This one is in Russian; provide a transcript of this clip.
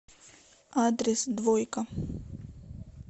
адрес двойка